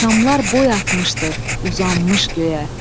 Şamlar boy atmışdır, uzanmış göyə.